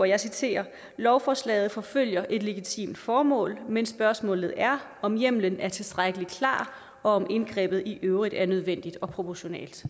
jeg citerer lovforslaget forfølger et legitimt formål men spørgsmålet er om hjemlen er tilstrækkelig klar og om indgrebet i øvrigt er nødvendigt og proportionalt